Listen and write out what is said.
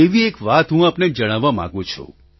તેવી એક વાત હું આપને જણાવવા માગું છું